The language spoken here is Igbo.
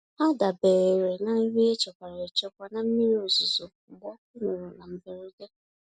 Ha dabeere na nri e chekwara echekwa na mmiri ozuzo mgbe ọkụ nyụrụ na mberede.